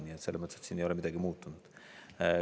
Nii et selles mõttes siin ei ole midagi muutunud.